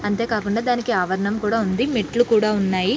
అంతే కాకుండా దానికి ఆవరణం కూడా ఉంది మెట్లు కూడా ఉన్నాయి.